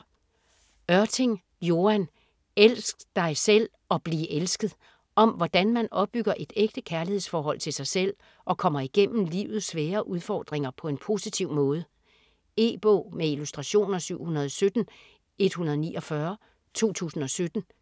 Ørting, Joan: Elsk dig selv og bliv elsket Om hvordan man opbygger et ægte kærlighedsforhold til sig selv og kommer igennem livets svære udfordringer på en positiv måde. E-bog med illustrationer 717149 2017.